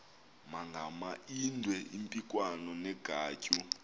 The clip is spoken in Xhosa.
magamaindwe impikwana negwatyu